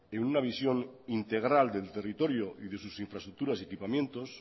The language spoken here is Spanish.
en una visión integral del territorio y de sus infraestructuras y equipamientos